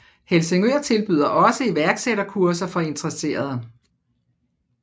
Helsingør tilbyder også iværksætterkurser for interesserede